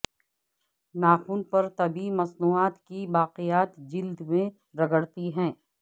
ناخن پر طبی مصنوعات کی باقیات جلد میں رگڑتی ہیں